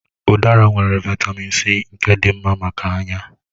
Udara nwere Vị́tamị́n C nke dị mma maka anya.